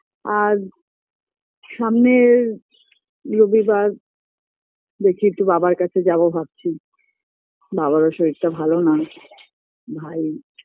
আর সামনের রবিবার দেখি একটু বাবার কাছে যাবো ভাবছি বাবারও শরীরটা ভালো না ভাই